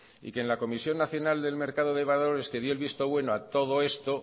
y que en la comisión nacional del mercado de valores que dio el visto bueno a todo esto